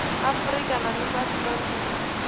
afurika na ḽifhasi ḽoṱhe ri